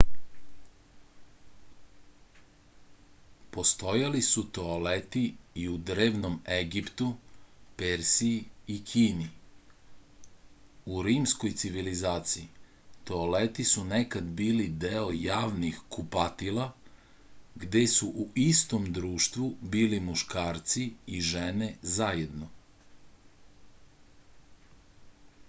postojali su toaleti i u drevnom egiptu persiji i kini u rimskoj civilizaciji toaleti su nekad bili deo javnih kupatila gde su u istom društvu bili muškarci i žene zajedno